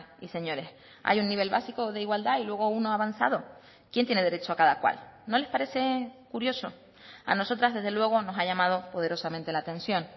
y señores hay un nivel básico de igualdad y luego uno avanzado quién tiene derecho a cada cual no les parece curioso a nosotras desde luego nos ha llamado poderosamente la atención